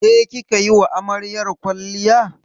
Ke kika yi wa amaryar kwalliya?